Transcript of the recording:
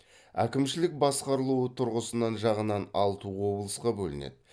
әкімшілік басқарылуы тұрғысынан жағынан алты облысқа бөлінеді